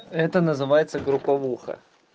это называется групповуха